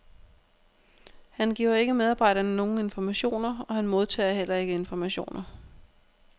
Han giver ikke medarbejderne nogen informationer og han modtager heller ikke informationer.